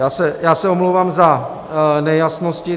Já se omlouvám za nejasnosti.